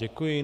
Děkuji.